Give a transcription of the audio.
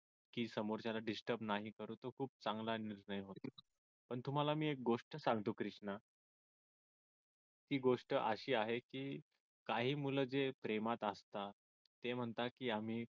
की समोरच्याला disturb नाही करू तर तो खूप चांगला निर्णय पण तुम्हाला मी एक गोष्ट सांगतो क्रिष्णा ती गोष्ट अशी आहे की काही मुलं जे प्रेमात असता ते म्हणता की आम्ही